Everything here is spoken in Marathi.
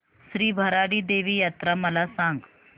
श्री भराडी देवी यात्रा मला सांग